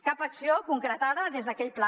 cap acció concretada des d’aquell pla